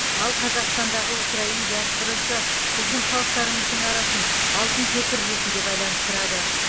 ал қазақстандағы украин диаспорасы біздің халықтарымыздың арасын алтын көпір ретінде байланыстырады